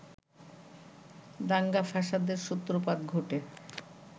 দাঙ্গা-ফ্যাসাদের সূত্রপাত ঘটে